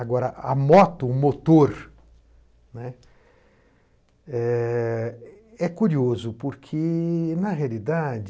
Agora, a moto, o motor, né, é... é curioso porque, na realidade,